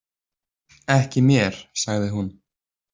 Ekki mér, sagði hún.